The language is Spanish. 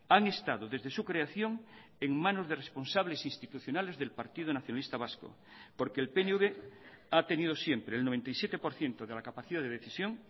han estado desde su creación en manos de responsables institucionales del partido nacionalista vasco porque el pnv ha tenido siempre el noventa y siete por ciento de la capacidad de decisión